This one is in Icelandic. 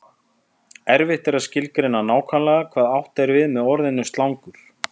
Erfitt er að skilgreina nákvæmlega hvað átt er við með orðinu slangur.